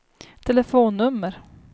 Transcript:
telefonnummer